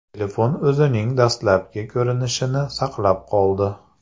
Telefon o‘zining dastlabki ko‘rinishini saqlab qoldi.